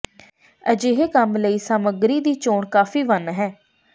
ਅਜਿਹੇ ਕੰਮ ਲਈ ਸਮੱਗਰੀ ਦੀ ਚੋਣ ਕਾਫ਼ੀ ਵੰਨ ਹੈ